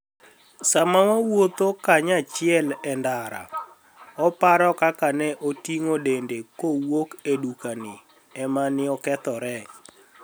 Sama wawuotho kaniyachiel e nidara, oparo kaka ni e otinig'o denide kowuok e dukani e ma ni e okethore.